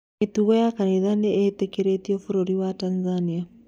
Mĩtũngano ya kanitha nĩĩtekeretio bũrũri wa Tanzania